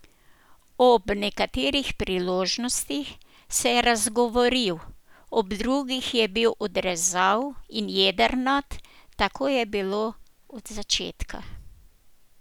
Ob nekaterih priložnostih se je razgovoril, ob drugih je bil odrezav in jedrnat, tako je bilo od začetka.